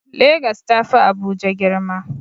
Legas ta fi Abuja girma.